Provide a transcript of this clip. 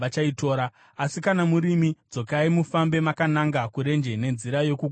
Asi kana murimi, dzokai mufambe makananga kurenje nenzira yokuGungwa Dzvuku.”